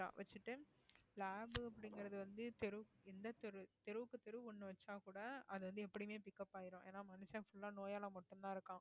படிச்சிட்டு lab உ அப்பிடிங்கறது வந்து தெருவுக்கு எந்த தெரு தெருவுக்கு தெரு ஒண்ணு வச்சா கூட அது வந்து எப்படியுமே pick up ஆயிரும் ஏன்னா மனுஷன் full ஆ நோயால மட்டும்தான் இருக்கான்